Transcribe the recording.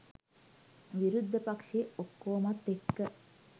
විරුද්ධ පක්‍ෂයේ ඔක්කොමත් එක්ක